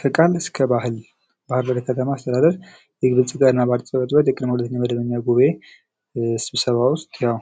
ከቃል እስከ ባህል በባህርዳር ከተማ አስተዳደር የብልጽግና ፓርቲ ቅ/ጽ/ቤት ቅድመ ሁለተኛ መደበኛ ጉባኤ ስብሰባ ውስጥ ያው